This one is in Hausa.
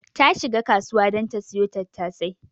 Ta shika kasuwa don ta siyo tattasai.